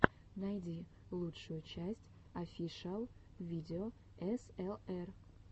найди лучшую часть офишиал видео эсэлэр